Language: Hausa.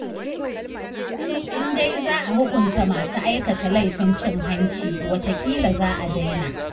In dai za a hukunta masu aikata laifin cin hanci, wataƙila za a daina